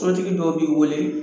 Sotigi dɔw b'i weele.